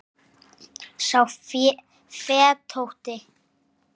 sá fetótti